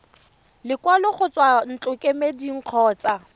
lekwalo go tswa ntlokemeding kgotsa